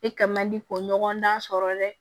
E kɛ man di k'o ɲɔgɔndan sɔrɔ dɛ